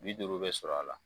Bi duuru be sɔrɔ a la